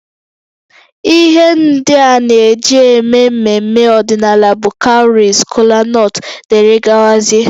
Ihe ndị a na-eji eme mmemme ọdịnala bụ cowries, kolanut wdg